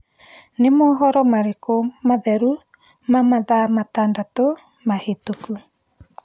ni mohoro marĩkũ matheru ma mathaa matandatu mahituku